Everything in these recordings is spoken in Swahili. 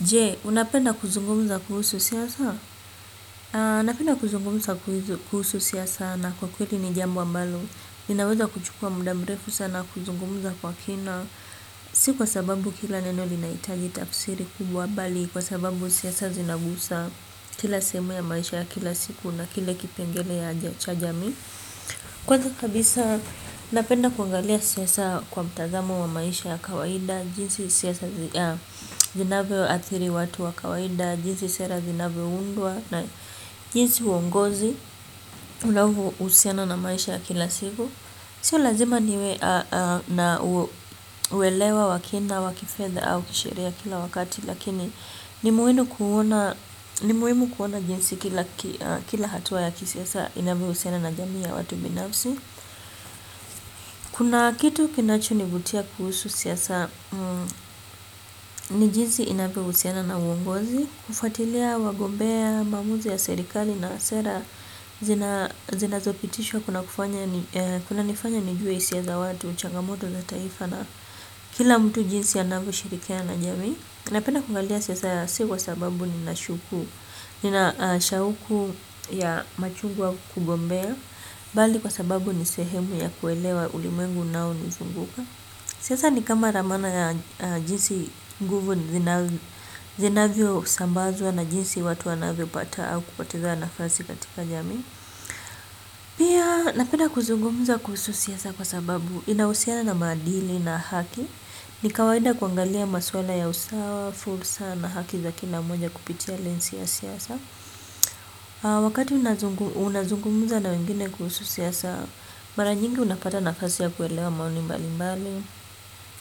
Je, unapenda kuzungumuza kuhusu siasa? Napenda kuzungumusa kuhusu siasa na kwa kweli ni jambo ambalo. Ninaweza kuchukua mda mrefu sana kuzungumuza kwa kina. Si kwa sababu kila neno linaitaji tafsiri kubwa bali. Kwa sababu siasa zinagusa kila sehemu ya maisha ya kila siku na kila kipengele cha jamii. Kwanza kabisa, napenda kuangalia siasa kwa mtazamo wa maisha ya kawaida. Jinsi siasa zinavyoathiri watu wa kawaida jinsi sera zinavyoundwa na jinsi uongozi unavousiana na maisha ya kila siku, sio lazima niwe na uelewa wa kina wa kifedha au kisheria kila wakati lakini ni muhimu kuona jinsi kila hatuwa ya kisiasa inavyohusiana na jamii ya watu binafsi, kuna kitu kinachonivutia kuhusu siasa ni jinsi inavyohusiana na uongozi kufuatilia magombea maamuzi ya serikali na sera zinazopitishwa kunanifanya nijuwe isia za watu, changamoto za taifa na kila mtu jinsi anavyoshirikiana na jamii napenda kuangalia siasa sio kwa sababu nina shuaku ya machungu au kugombea, bali kwa sababu ni sehemu ya kuelewa ulimwengu unaonizunguka. Siasa ni kama ramana ya jinsi nguvu zinavyosambazwa na jinsi watu wanavyopata au kupoteza nafasi katika jamii. Pia napenda kuzungumuza kuhusu siasa kwa sababu inahusiana na maadili na haki. Ni kawaida kuangalia maswala ya usawa, fursa na haki za kila moja kupitia lensi ya siasa. Wakati unazungumuza na wengine kuhusu siasa, mara nyingi unapata nafasi ya kuelewa maoni mbali mbali.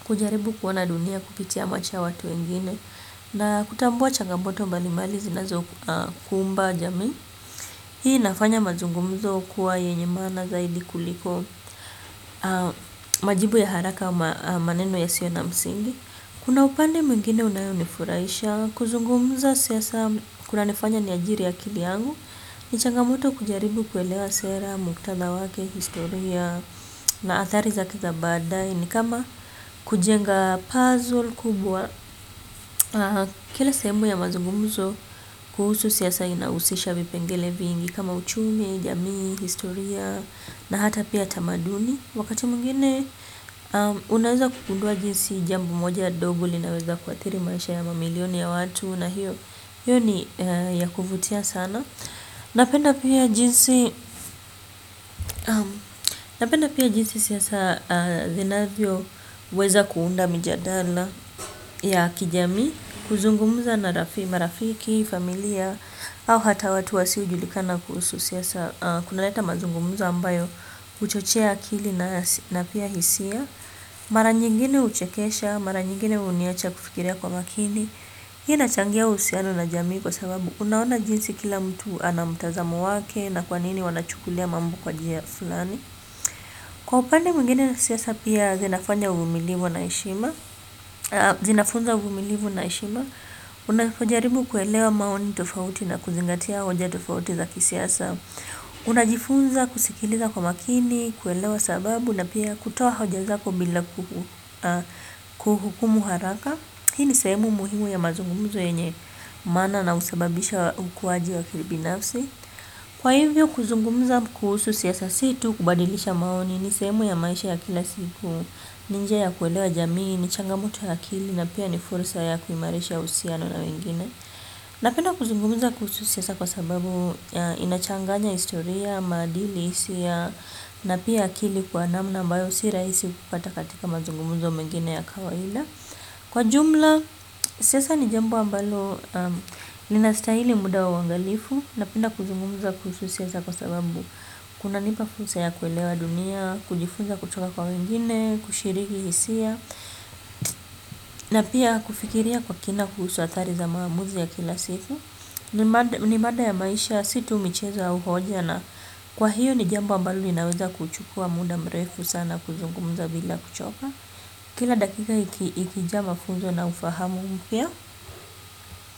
Kujaribu kuona dunia kupitia macho ya watu wengine na kutambua changamoto mbali mbali zinazokumba jamii. Hii inafanya mazungumzo kuwa yenye mana zaidi kuliko majibu ya haraka maneno yasio na msingi. Kuna upande mwingine unayonifuraisha. Kuzungumza siasa kunanifanya niajiri akili yangu. Ni changamoto kujaribu kuelewa sera, muktadha wake, historia na athari zake za badae ni kama kujenga puzzle kubwa kile sehemu ya mazungumuzo kuhusu siasa inausisha vipengele vingi kama uchumi, jamii, historia na hata pia tamaduni wakati mwingine unaweza kugundua jinsi jambo moja dogo linaweza kuathiri maisha ya mamilioni ya watu na hiyo ni ya kuvutia sana napenda pia jinsi siasa zinavyo weza kuunda mijadala ya kijamii, kuzungumuza na marafiki, familia au hata watu wasiojulikana kuhusu siasa, kuna leta mazungumzo ambayo huchochea akili na pia hisia maranyingine uchekesha, maranyingine huniacha kufikiria kwa makini hii inachangia uhusiano na jamii kwa sababu unaona jinsi kila mtu anamtazamo wake na kwanini wanachukulia mambo kwa jia fulani kwa upande mwingine na siasa pia zinafunya uvumilivu na heshima zinafunza uvumilivu na heshima unafojaribu kuelewa maoni tofauti na kuzingatia hoja tofauti za kisiasa unajifunza kusikiliza kwa makini kuelewa sababu na pia kutoa hoja zako bila kuhukumu haraka hii ni sehemu muhimu ya mazungumuzo yenye maana na usababisha ukuwaji wa kibinafsi kwa hivyo kuzungumza kuhusu siasa si tu kubadilisha maoni ni sehemu ya maisha ya kila siku. Ni njia ya kuelewa jamii, ni changamoto ya akili na pia ni fursa ya kuimarisha uhusiano na wengine. Napenda kuzungumuza kuhusu siasa kwa sababu ya inachanganya historia, maadili hisia napia akili kwa namna ambayo si rahisi kupata katika mazungumuzo mengine ya kawaida. Kwa jumla, siasa ni jambo ambalo linastaili muda wa uangalifu. Napenda kuzungumuza kuhusu siasa kwa sababu kuna nipa fursa ya kuelewa dunia kujifunza kutoka kwa wengine, kushiriki hisia na pia kufikiria kwa kina kuhusu athari za maamuzi ya kila siku ni mada ya maisha, situ michezo au hoja na kwa hiyo ni jambo ambalo linaweza kuchukua muda mrefu sana kuzungumza bila kuchoka kila dakika ikijaa mafunzo na ufahamu mpya.